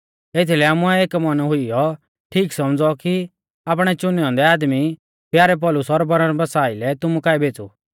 एथीलै आमुऐ एक मन हुइयौ ठीक सौमझ़ौ कि आपणै चुनै औन्दै आदमी प्यारै पौलुस और बरनबासा आइलै तुमु काऐ भेज़ु